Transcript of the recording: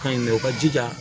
Kan in dɛ o ka jija